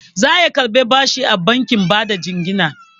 Zaije ya karɓi bashi a bankin bada jingina.